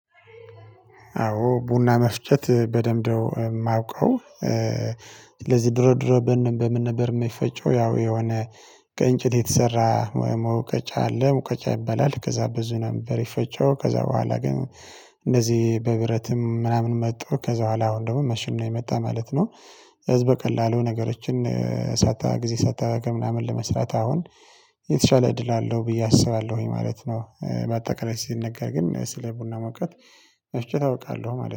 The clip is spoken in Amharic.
አዎ ቡና መፍጨት በደንብ ነው የማውቀው። ስለዚህ ድሮ ድሮ በምን ነበር የሚፈጨው ያው የሆነ ከእንጨት የተሰራ መውቀጫ አለ መውቀጫ ይባላል ከዛ በሱ ነበር የሚፈጨው። ከዛ በኋላ ግን እንደዚህ በብረትም ምናምን መጥቶ ከዛ በኋላ አሁን ደግሞ ማሽን ነው የመጣው ማለት ነው። ስለዚህ በቀላሉ ነገሮችን ጊዜ ሳታባክን ምናምን ለመስራት አሁን የተሻለ እድል አለው ብዬ አስባለሁኝ ማለት ነው። ባጠቃላይ ሲነገር ግን ስለ ቡና መውቀጥ መፍጨት አውቃለሁ ማለት ነው